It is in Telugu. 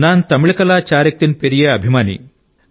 నాన్ తమిళకలా చారాక్తిన్ పెరియే అభిమాని